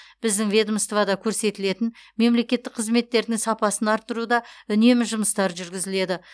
біздің ведомствода көрсетілетін мемлекеттік қызметтердің сапасын арттыруда үнемі жұмыстар жүргізіледі